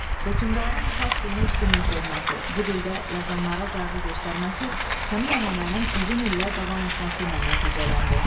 Hökümdarın fars dilinə üstünlük verməsi, bu dildə yazanlara qayğı göstərməsi həmin ənənənin uzun illər davam etməsi ilə nəticələndi.